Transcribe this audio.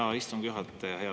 Hea istungi juhataja!